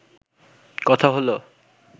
কথা হল